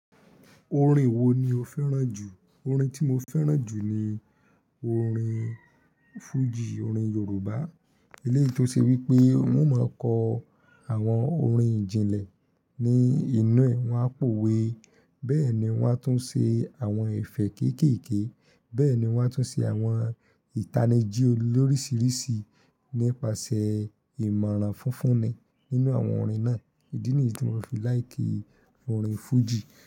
Orin wo ni o fẹ́ràn jù? Orin tí mo fẹ́ràn jù ni orin Fuji, orin Yorùbá. Éléyì tò ṣe wípé wọ́n ò máa kọ àwọn orin ìjìnlẹ̀ ní inú ẹ̀ wọ̀n àpòòwe, bẹ́ẹ̀ ni wọ́n á tún ṣe àwọn ẹ̀fẹ̀ kéékèèké, bẹ́ẹ̀ ni wọ́n á tún ṣe àwọn ìtanijí lórísìíríṣìí nípasẹ̀ ìmọ̀ràn funfunni nínú àwọn orin náà. Ídí nìyí tí mo fi láìkì orin Fuji.